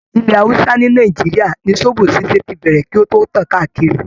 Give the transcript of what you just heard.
Ilẹ̀ hausa ni Nàìjíríà ni zobo ṣíṣe tí bẹ̀rẹ̀ kí o tó tàn káàkiri.